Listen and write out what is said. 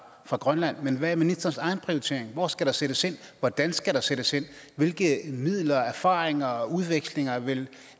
fra grønland men hvad er ministerens egen prioritering hvor skal der sættes ind hvordan skal der sættes ind hvilke midler erfaringer og udvekslinger vil